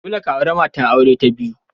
Dole ka auri matar aure ta biyu!